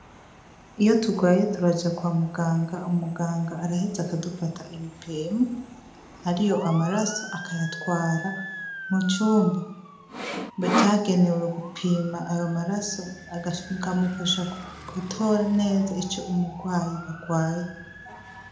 Iyo turwaye turaja kwa muganga umuganga araheze akadufata ibipimo ari yo amaraso akayatwara mu cumba vyagenewe gupima ayo maraso akamufasha gutora neza ico umurwayi arwaye.